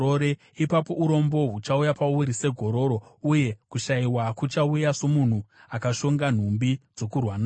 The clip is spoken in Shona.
ipapo urombo huchauya pauri segororo uye kushayiwa kuchauya somunhu akashonga nhumbi dzokurwa nadzo.